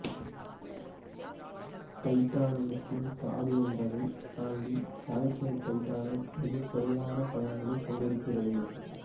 தைட்டானியத்தின் தாது என்பதைத் தாண்டி கால்சியம் தைட்டனட்டு மிகக் குறைவான பயன்களைக் கொண்டிருக்கிறது